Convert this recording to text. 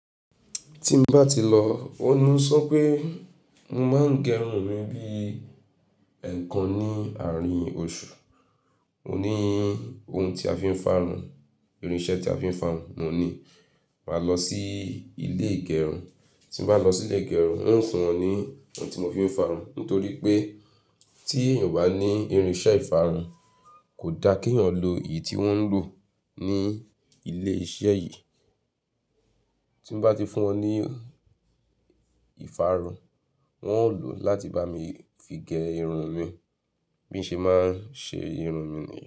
Tí mo bá ti lọ, ó ní ó sọ pé mo máa ń gẹrun mi bí ẹ̀ẹ̀kan ní àárín oṣù. Mo ní ohun tí a fi ń farun, irinṣẹ́ tí a fi ń farun mo ní. Màá lọ sí ilé ìgẹrun. Tí mo bá lọ sí ilé ìgẹrun, wọn fún wọn ní ohun tí mo fi ń farun. Nítorí pé tí èèyàn obá ní irinṣẹ́ ìfarun kò da kí èèyàn lo èyí tí wọ́n ń lò ní ilé iṣẹ́ yìí. Tí mo bá ti fún wọn ní ìfarun, wọn ó lò ó láti bá mi fi gẹ irun mi bí mo ṣe máa ń ṣe irun mi nìyẹn.